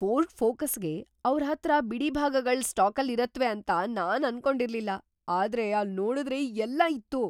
Ford ಫೋಕಸ್‌ಗೆ ಅವ್ರ್‌ ಹತ್ರ ಬಿಡಿಭಾಗಗಳ್‌ ಸ್ಟಾಕಲ್ಲಿರತ್ವೆ ಅಂತ ನಾನ್ ಅನ್ಕೊಂಡಿರ್ಲಿಲ್ಲ, ಆದ್ರೆ ಅಲ್ನೋಡುದ್ರೆ ಎಲ್ಲ ಇತ್ತು!